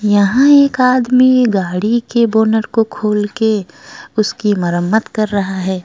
यहां एक आदमी गाड़ी के बोनट को खोल के उसकी मरम्मत कर रहा है।